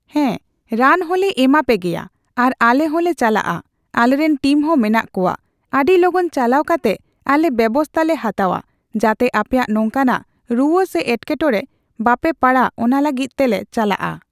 ᱦᱮᱸ ᱨᱟᱱ ᱦᱚᱞᱮ ᱮᱢᱟ ᱯᱮᱜᱮᱭᱟ ᱟᱨ ᱟᱞᱮ ᱦᱚᱞᱮ ᱪᱟᱞᱟᱜᱼᱟ ᱟᱞᱮᱨᱮᱱ ᱴᱤᱢᱦᱚᱸ ᱢᱮᱱᱟᱜ ᱠᱚᱣᱟ ᱟᱹᱰᱤ ᱞᱚᱜᱚᱱ ᱪᱟᱞᱟᱣ ᱠᱟᱛᱮᱜ ᱟᱞᱮ ᱵᱮᱵᱚᱥᱛᱷᱟ ᱞᱮ ᱦᱟᱛᱟᱣᱟ ᱡᱟᱛᱮ ᱟᱯᱮᱭᱟᱜ ᱱᱚᱝᱠᱟᱱᱟᱜ ᱨᱩᱣᱟᱹ ᱥᱮ ᱮᱴᱠᱮᱴᱚᱲᱮ ᱵᱟᱯᱮ ᱯᱟᱲᱟᱜ ᱚᱱᱟ ᱞᱟᱹᱜᱤᱫ ᱛᱮᱞᱮ ᱪᱟᱞᱟᱜᱼᱟ ᱾